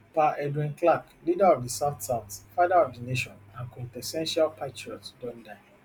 pa edwin clark leader of di southsouth father of di nation and quintessential patriot don die